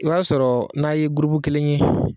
O y'a sɔrɔ n'a ye gurupu kelen ye.